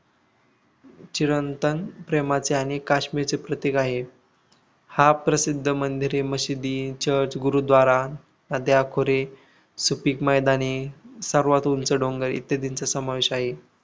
चिरंतन प्रेमाचे आणि काश्मीरचे प्रतीक आहे. हा प्रसिद्ध मंदिरे मशिदी चर्च गुरुद्वारा नद्या खोरे सुपीक मैदाने सर्वात उंच डोंगर इत्यादींचा समावेश आहे.